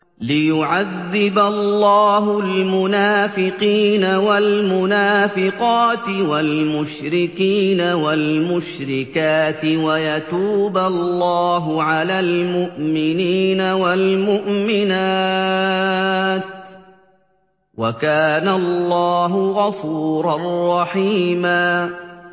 لِّيُعَذِّبَ اللَّهُ الْمُنَافِقِينَ وَالْمُنَافِقَاتِ وَالْمُشْرِكِينَ وَالْمُشْرِكَاتِ وَيَتُوبَ اللَّهُ عَلَى الْمُؤْمِنِينَ وَالْمُؤْمِنَاتِ ۗ وَكَانَ اللَّهُ غَفُورًا رَّحِيمًا